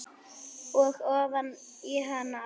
Og ofan í hana aftur.